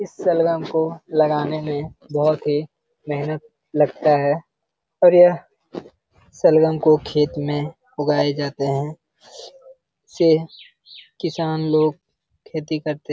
इस शलगम को लगाने में बहुत ही मेहनत लगता है और यह शलगम को खेत में उगाए जाते हैं से किसान लोग खेती करते --